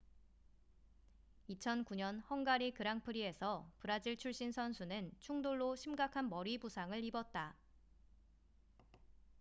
2009년 헝가리 그랑프리에서 브라질 출신 선수는 충돌로 심각한 머리 부상을 입었다